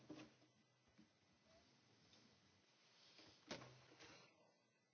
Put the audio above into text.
Sí, estoy de acuerdo en que este acuerdo, como usted dice, plantea problemas.